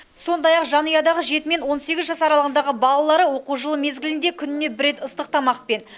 сондай ақ жанұядағы жеті мен он сегіз жас аралығындағы балалары оқу жылы мезгілінде күніне бір рет ыстық тамақпен